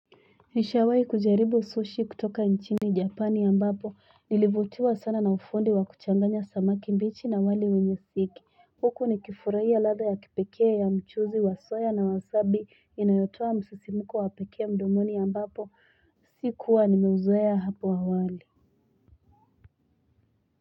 Nishiawai kujaribu Sushi kutoka nchini Japani ambapo, nilivutiwa sana na ufundi wakuchanganya samaki mbichi na wali wenyesiki. Huku nikifuraya lada ya kipekea ya mchuzi wasoya na wasabi inayotua msisimuku wapekea mdomoni ambapo, sikuwa nimewuzoeya hapo awali.